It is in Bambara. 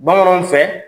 Bamananw fɛ